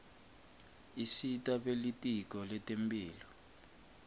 isita belitiko letemphilo